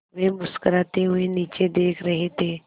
वे मुस्कराते हुए नीचे देख रहे थे